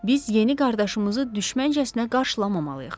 biz yeni qardaşımızı düşməncəsinə qarşılamamalıyıq.